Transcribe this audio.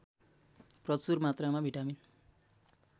प्रचुर मात्रामा भिटामिन